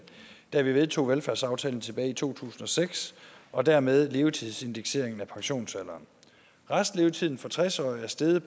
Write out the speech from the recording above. da vi vedtog velfærdsaftalen tilbage i to tusind og seks og dermed levetidsindekseringen af pensionsalderen restlevetiden for tres årige er steget